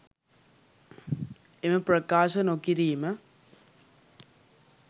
එම ප්‍රකාශ නොකිරීම